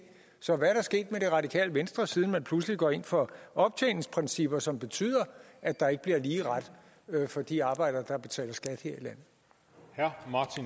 så hvad er der sket med det radikale venstre siden man pludselig går ind for optjeningsprincipper som betyder at der ikke bliver lige ret for de arbejdere der betaler skat her